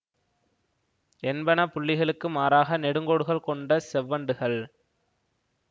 என்பன புள்ளிகளுக்கு மாறாக நெடுங்கோடுகள் கொண்ட செவ்வண்டுகள்